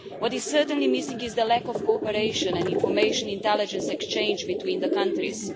What is certainly missing is the lack of cooperation and information intelligence exchange between countries.